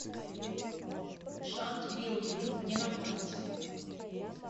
шант билдинг где находится